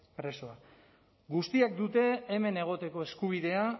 presoak guztiek dute hemen egoteko eskubidea